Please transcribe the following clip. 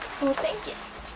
þú ert engill